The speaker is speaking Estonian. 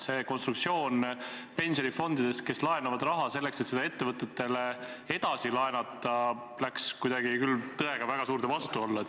See konstruktsioon pensionifondidest, kes laenavad raha selleks, et seda ettevõtetele edasi laenata, läks küll tõega väga suurde vastuollu.